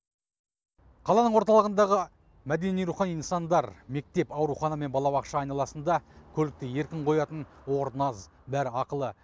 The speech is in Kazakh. қаланың орталығындағы мәдени рухани нысандар мектеп аурухана мен балабақша айналасында көлікті еркін қоятын орын аз бәрі ақылы